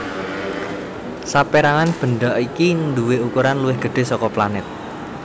Sapérangan bendha iki nduwé ukuran luwih gedhé saka planèt